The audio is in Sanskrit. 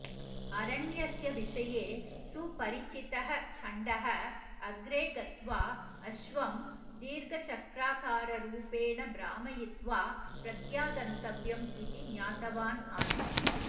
अरण्यस्य विषये सुपरिचितः चण्डः अग्रे गत्वा अश्वं दीर्घचक्राकाररूपेण भ्रामयित्वा प्रत्यागन्तव्यम् इति ज्ञातवान् आसीत्